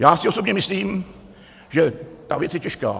Já si osobně myslím, že ta věc je těžká.